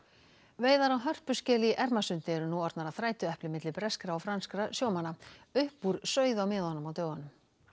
veiðar á hörpuskel í Ermarsundi eru nú orðnar að þrætuepli milli breskra og franskra sjómanna upp úr sauð á miðunum á dögunum